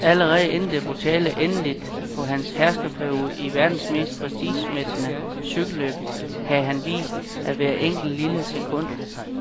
Allerede inden det brutale endeligt på hans herskerperiode i verdens mest prestigemættede cykelløb havde han vist, at hvert enkelt, lille sekund